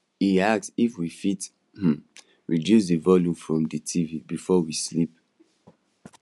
he ask if we fit um reduce the volume from the tv before we sleep